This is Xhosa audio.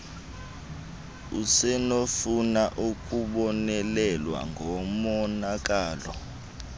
usenokufuna ukubonelelwa ngomonakalo